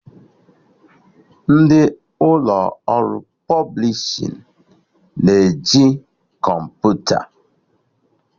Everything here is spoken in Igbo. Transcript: Ndị ụlọ ọrụ pọblishin na-eji kọmputa